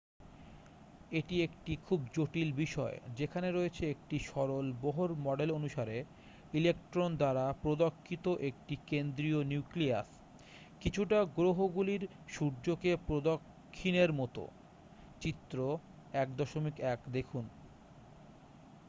এটি একটি খুব জটিল বিষয় যেখানে রয়েছে একটি সরল বোহর মডেল অনুসারে ইলেকট্রন দ্বারা প্রদক্ষিত একটি কেন্দ্রীয় নিউক্লিয়াস কিছুটা গ্রহগুলির সূর্যকে প্রদক্ষিণের মতো চিত্র 1.1দেখুন